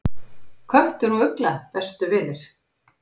Köttur og ugla bestu vinir